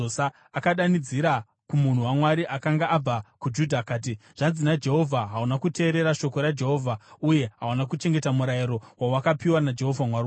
Akadanidzira kumunhu waMwari akanga abva kuJudha akati, “Zvanzi naJehovha: ‘Hauna kuteerera shoko raJehovha uye hauna kuchengeta murayiro wawakapiwa naJehovha Mwari wako.